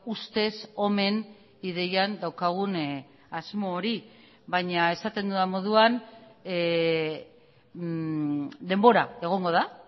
ustez omen ideian daukagun asmo hori baina esaten dudan moduan denbora egongo da